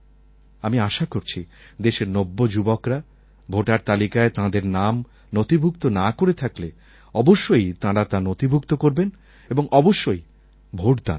আমি আশা করছি দেশের নব্যযুবকরা ভোটার তালিকায় তাঁদের নাম নথিভুক্ত না করে থাকলে অবশ্যই তাঁরা তা নথিভুক্ত করবেন এবং অবশ্যই ভোটদান করবেন